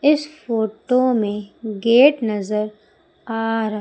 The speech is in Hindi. इस फोटो में गेट नजर आ रहा--